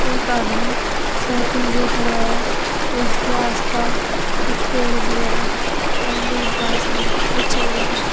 एक आदमी साइकिल लिए खड़ा है और इसके आसपास कुछ पेड़ भी है और दूब घास भी बिछा हुआ है।